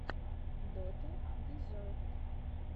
дота дезерт